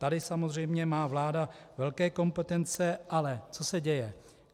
Tady samozřejmě má vláda velké kompetence - ale co se děje?